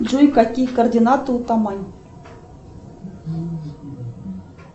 джой какие координаты у тамань